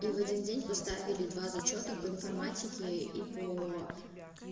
и в один день поставили два зачёта по информатике и поо